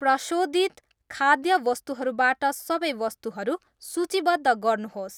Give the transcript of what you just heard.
प्रशोधित खाद्य वस्तुहरूबाट सबै वस्तुहरू सूचीबद्ध गर्नुहोस्।